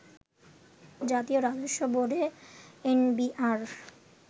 জাতীয় রাজস্ব বোর্ডে এনবিআর